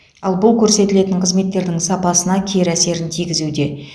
ал бұл көрсетілетін қызметтердің сапасына кері әсерін тигізуде